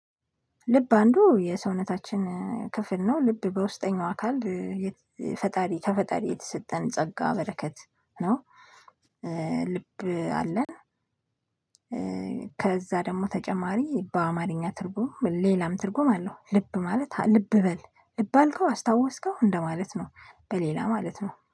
ልብ አንዱ የሰውነታችን ክፍል ነው ልብ በውስጠኛው አካል ከፈጣሪ የተሰጠን ጸጋ በረከት ነው። ልብ አለን። ከዛ ደግሞ ተጨማሪ በአማርኛ ትርጉም ሌላም ትርጉም አለው። ልብ ማለት ልብ በል ልብ አልከው አስታወስከው እንደማለት ነው። በሌላ ማለት ነው